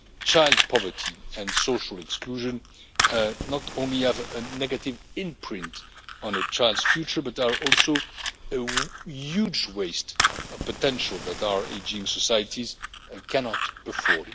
Child poverty and social exclusion not only have a negative imprint on a child's future but are also a huge waste of potential that our ageing societies cannot afford.